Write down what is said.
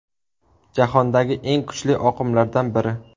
Jahondagi eng kuchli oqimlardan biri.